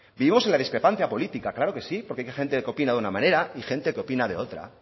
vivimos en la discrepancia política claro que sí porque hay gente que opina de una manera y gente que opina de otra